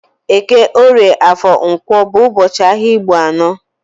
Eke, orie, afor na Nkwo bụ ụbọchị ahịa Igbo anọ